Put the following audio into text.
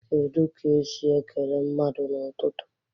Kedu ka esi esi ekele mmadụ n'ụtụtụ?